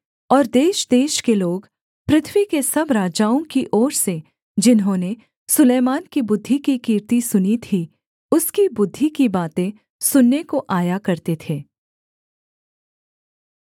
और देशदेश के लोग पृथ्वी के सब राजाओं की ओर से जिन्होंने सुलैमान की बुद्धि की कीर्ति सुनी थी उसकी बुद्धि की बातें सुनने को आया करते थे